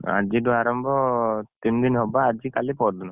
ଆଜିଠୁ ଆରମ୍ଭ ତିନଦିନ ହବ ବା ଆଜି କାଲି ପହରଦିନ।